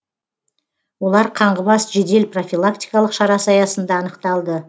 олар қаңғыбас жедел профилактикалық шарасы аясында анықталды